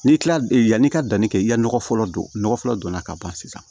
N'i kilala yanni i ka danni kɛ i ka nɔgɔ fɔlɔ don nɔgɔ fɔlɔ donna ka ban sisan